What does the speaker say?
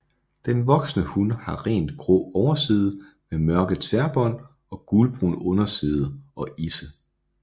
Den voksne hun har rent grå overside med mørke tværbånd og gulbrun underside og isse